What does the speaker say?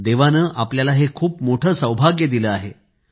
देवाने आपल्याला हे खूप मोठे सौभाग्य दिले आहे